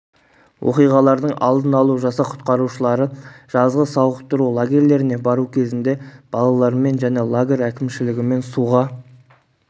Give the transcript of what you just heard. оқиғалардың алдын алу жасақ құтқарушылары жазғы сауықтыру лагерлеріне бару кезінде балалармен және лагер әкімшілігімен суға